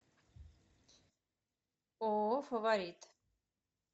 ооо фаворит